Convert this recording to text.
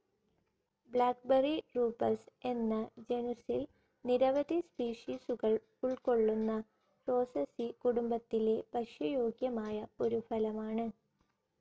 Blackberry Rubus എന്ന ജനുസ്സിൽ നിരവധി സ്പീഷീസുകൾ ഉൾക്കൊള്ളുന്ന റോസസി കുടുംബത്തിലെ ഭക്ഷ്യയോഗ്യമായ ഒരു ഫലമാണ്.